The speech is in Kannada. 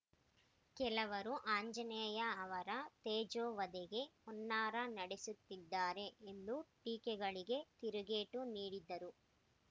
ಕೆಲವರು ಆಂಜನೇಯ ಅವರ ತೇಜೋವಧೆಗೆ ಹುನ್ನಾರ ನಡೆಸುತ್ತಿದ್ದಾರೆ ಎಂದು ಟೀಕೆಗಳಿಗೆ ತಿರುಗೇಟು ನೀಡಿದರು